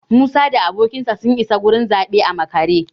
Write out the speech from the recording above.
Musa da abokinsa sun isa gurin zaɓe a makare